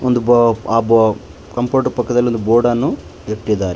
ಒಂದು ಬ ಆ ಬ ಕಂಪ್ಯೂಟರ್ ಪಕ್ಕದಲ್ಲಿ ಒಂದು ಬೋರ್ಡನ್ನು ಇಟ್ಟಿದಾರೆ.